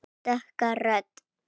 Dökka rödd.